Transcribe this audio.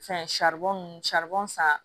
Fɛn saribɔn nunnu bɔn san